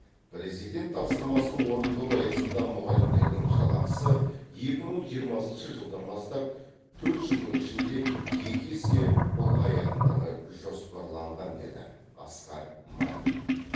президент тапсырмасын орындау аясында мұғалімдердің жалақысы екі мың жиырмасыншы жылдан бастап төрт жылдың ішінде екі есе ұлғаятындығы жоспарланған деді асқар мамин